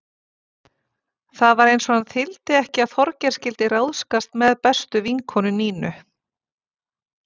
Það var eins og hann þyldi ekki að Þorgeir skyldi ráðskast með bestu vinkonu Nínu.